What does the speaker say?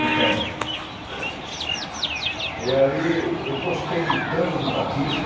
Então, e ali eu gostei de tanto do batismo,